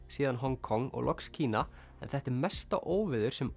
síðan Hong Kong og loks Kína en þetta er mesta óveður sem